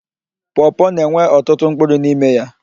Pọọpọọ na-enwe ọtụtụ mpkụrụ n'ime ya.